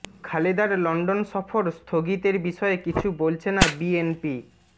খালেদার London সফর স্থগিতের বিষয়ে কিছু বলছে না বিএনপি